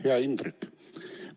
Hea Indrek!